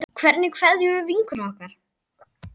Hvernig kveðjum við vinkonu okkar?